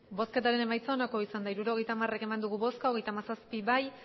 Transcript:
hirurogeita hamar eman dugu bozka hogeita hamazazpi bai